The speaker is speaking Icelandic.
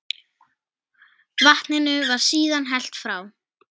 Vatninu var síðan hellt frá.